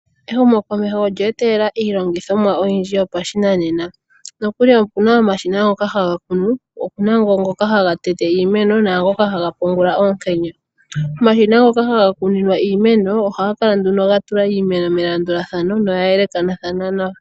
Ehumo komeho olye etelela iilongithomwa oyindji yopashi nanena, opuna omashina ngoka haga kunu, opuna ngoka haga tete iimeno nangoka haga pungula oonkenya. Omashina ngoka haga kuninwa iimeno ohaga kala ga tulwa iimeno melanduladhano noya yelekathanwa nawa.